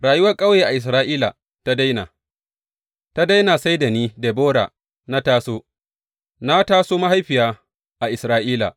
Rayuwar ƙauye a Isra’ila ta daina, ta daina sai da ni, Debora, na taso, na taso mahaifiya a Isra’ila.